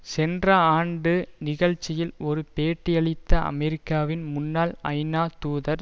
சென்ற ஆண்டு நிகழ்ச்சியில் ஒரு பேட்டியளித்த அமெரிக்காவின் முன்னாள் ஐநா தூதர்